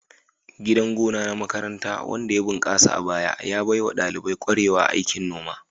Gidan gona na makaranta wanda ya bunkasa a baya, ya baiwa ɗalibai kwarewa a aikin noma.